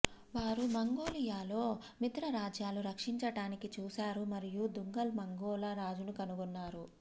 వారు మంగోలియాలో మిత్రరాజ్యాలు రక్షించటానికి చూసారు మరియు దుంగర్ మంగోల రాజును కనుగొన్నారు